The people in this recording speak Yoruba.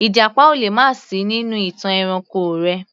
Ìjàpá ò lè má sì í nínú ìtàn ẹranko rẹ̀